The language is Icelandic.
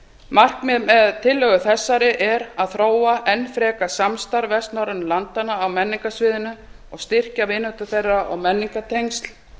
markmið með tillögu þessari er að þróa enn frekar samstarf vestnorrænu landanna á menningarsviðinu og styrkja vináttu þeirra og menningartengsl